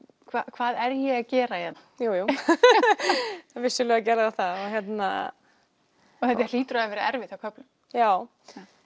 hvað er ég að gera hérna jú jú vissulega gerði það það þetta hlýtur að hafa verið erfitt á köflum já